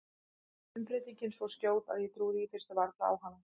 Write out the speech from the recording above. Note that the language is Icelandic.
Umbreytingin svo skjót að ég trúði í fyrstu varla á hana.